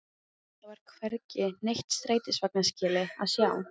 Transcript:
Það var hvergi neitt strætisvagnaskýli að sjá.